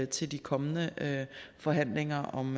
til de kommende forhandlinger om